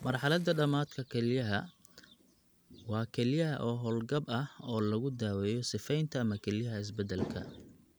Marxaladda dhamaadka kelyaha (ESRD) waa kelyaha oo hawl-gab ah oo lagu daweeyo sifaynta ama kelyaha beddelka.